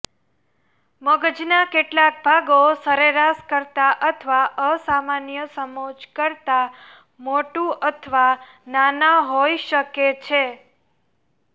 મગજના કેટલાક ભાગો સરેરાશ કરતાં અથવા અસામાન્ય સમોચ્ચ કરતાં મોટું અથવા નાના હોઈ શકે છે